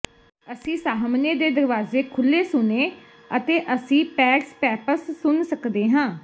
ਅਸੀਂ ਸਾਹਮਣੇ ਦੇ ਦਰਵਾਜ਼ੇ ਖੁੱਲ੍ਹੇ ਸੁਣੇ ਅਤੇ ਅਸੀਂ ਪੈਡਸਪੈਪਸ ਸੁਣ ਸਕਦੇ ਸਾਂ